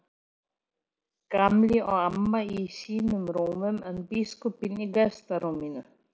Gamli og amma í sínum rúmum en biskupinn í gestarúminu.